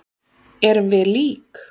Erum við lík?